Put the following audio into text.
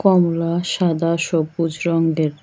কমলা সাদা সবুজ রংগের।